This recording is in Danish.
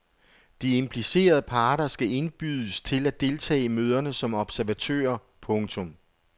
De implicerede parter skal indbydes til at deltage i møderne som observatører. punktum